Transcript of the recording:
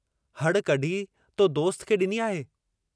हड़ कढी तो दोस्त खे डिनी आहे।